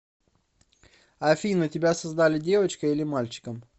афина тебя создали девочкой или мальчиком